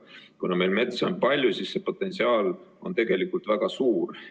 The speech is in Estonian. Kuna meil metsa on palju, siis see potentsiaal on tegelikult väga suur.